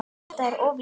Þetta er of lítið.